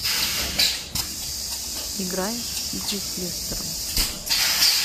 игра сити с лестером